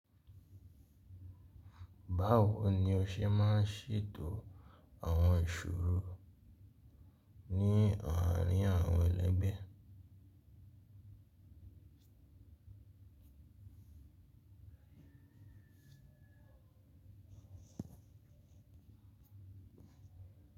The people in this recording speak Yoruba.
Báwo ni o ṣe máa ń ṣètò àwọn ìṣòro ní ọ̀ràn àwọn ẹlẹgbẹ́?